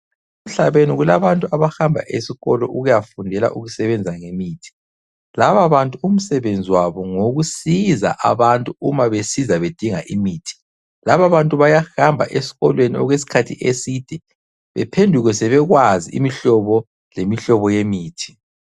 Emhlabeni kulabantu abahamba esikolo ukuyafundela ukusebenza ngemithi. Laba bantu umsebenzi wabo ngowokusiza abantu uma besiza bedinga imithi . Laba bantu bayahamba esikolweni okwesikhathi eside bephenduke sebekwazi imihlobo lemihlobo yemithi.